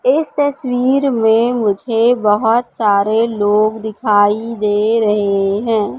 इस तस्वीर में मुझे बहोत सारे लोग दिखाई दे रहे है।